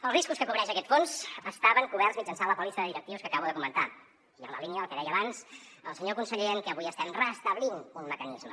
els riscos que cobreix aquest fons estaven coberts mitjançant la pòlissa de directius que acabo de comentar i en la línia del que deia abans el senyor conseller que avui estem restablint un mecanisme